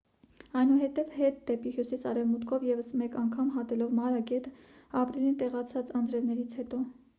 այնուհետև հետ դեպի հյուսիս արևմուտքով ևս մեկ անգամ հատելով մարա գետը ապրիլին տեղացած անձրևներից հետո